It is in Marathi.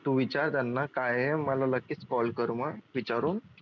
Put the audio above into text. तू विचार त्यांना काय आहे मला लगेच call कर मग विचारून